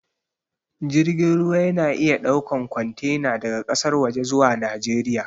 Jirgin ruwa ya na iya ɗaukan kwantena daga ƙasar waje zuwa najeriya